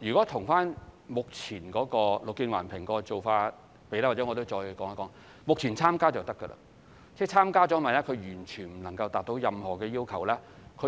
以目前綠建環評的做法而言，讓我再說一說，目前只要發展商參加，日後萬一項目完全無法達到任何級別，